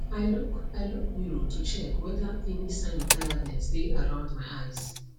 i look i look mirror to check whether any sign of tiredness dae around my eyes